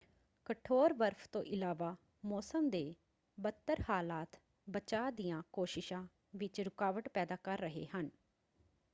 ਕਠੋਰ ਬਰਫ਼ ਤੋਂ ਇਲਾਵਾ ਮੌਸਮ ਦੇ ਬਦਤਰ ਹਾਲਾਤ ਬਚਾਅ ਦੀਆਂ ਕੋਸ਼ਿਸ਼ਾਂ ਵਿੱਚ ਰੁਕਾਵਟ ਪੈਦਾ ਕਰ ਰਹੇ ਹਨ।